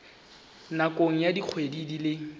nakong ya dikgwedi di le